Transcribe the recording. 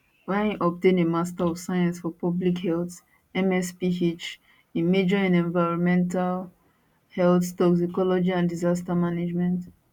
wia im obtain a master of science for public health msph im major in environmental health toxicology and disaster management